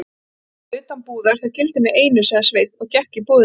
Innan eða utan búðar, það gildir mig einu, sagði Sveinn og gekk í búðina.